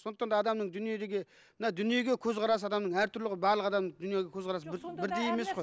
сондықтан да адамның дүниеге мына дүниеге көзқарасы адамның әртүрлі ғой барлық адамның дүниеге көзқарасы бір бірдей емес қой